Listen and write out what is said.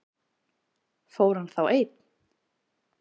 Fór hann þá einn?